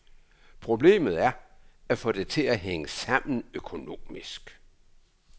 Problemet er at få det til at hænge sammen økonomisk.